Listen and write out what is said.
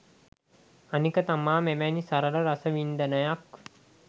අනික තමා මෙවැනි සරල රසවින්දනයක්